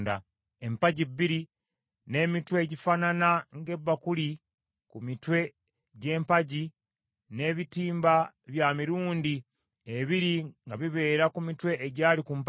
empagi bbiri, n’emitwe egifaanana ng’ebakuli ku mitwe gy’empagi, n’ebitimba bya mirundi ebiri nga bibeera ku mitwe egyali ku mpagi,